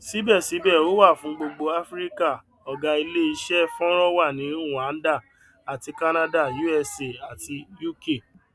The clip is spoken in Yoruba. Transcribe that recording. síbẹsíbẹ ó wà fún gbogbo áfíríkà ọgá ilé iṣẹ fọnrán wà ní rwanda àti canada usa àti uk